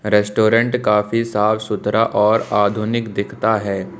Restaurant काफी साफ सुथरा और आधुनिक दिखता है।